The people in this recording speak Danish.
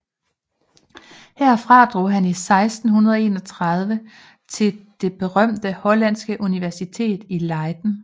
Herfra drog han 1631 til det berømte hollandske universitet i Leiden